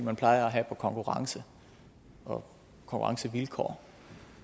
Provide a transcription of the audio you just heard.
man plejer at have på konkurrence og konkurrencevilkår